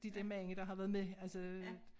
De der mange der har været med altså